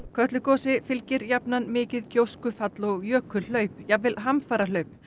Kötlugosi fylgir jafnan mikið gjóskufall og jökulhlaup jafnvel hamfarahlaup